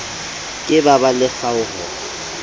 ke ba ba le kgaoho